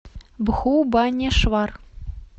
бхубанешвар